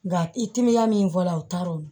Nka i timinan min fɔla o taara o